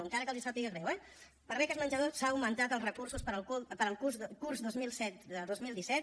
encara que els sàpiga greu eh per a beques menjador s’han augmentat els recursos per al curs dos mil setze dos mil disset